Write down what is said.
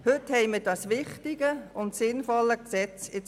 Heute liegt das wichtige und sinnvolle Gesetz vor.